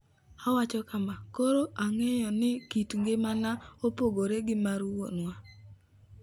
Owacho kama: "Koro ang'eyo ni kit ngimana opogore gi mar wuonwa.